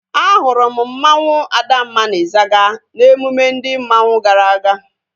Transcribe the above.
A hụrụ m mmanwu Adamma na Izaga n'emume ndị mmanwu gara aga